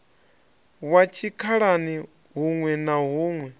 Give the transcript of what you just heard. wa tshikhalani huṋwe na huṋwe